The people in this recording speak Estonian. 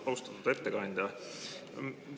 Austatud ettekandja!